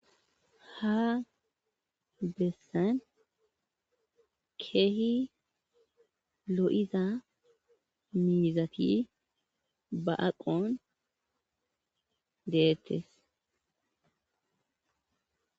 ha bessan keehi lo7iza miizafti ba7aqon deettes